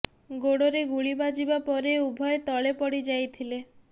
ଗୋଡରେ ଗୁଳି ବାଜିବା ପରେ ଉଭୟେ ତଳେ ପଡ଼ି ଯାଇଥିଲେ